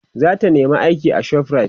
zata nema aiki a shoprite